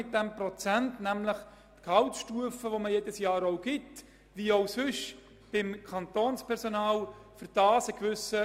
Das heisst, damit soll der jährliche Gehaltsstufenanstieg gewährt werden können, wie dies beim übrigen kantonalen Personal auch der Fall ist.